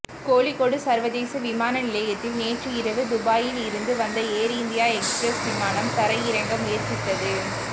கோழிக்கோடு சர்வதேச விமான நிலையத்தில் நேற்று இரவு துபாயில் இருந்து வந்த ஏர் இந்தியா எக்ஸ்பிரஸ் விமானம் தரையிறங்க முயற்சித்தது